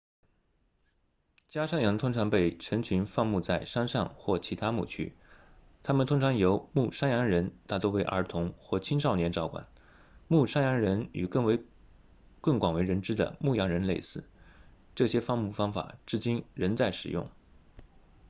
家山羊通常被成群放牧在山上或其他牧区它们通常由牧山羊人大多为儿童或青少年照管牧山羊人与更广为人知的牧羊人类似这些放牧方法至今仍在使用